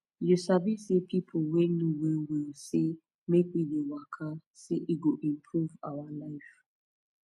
you sabi say pipo wey know well well say make we dey waka say e go improve our life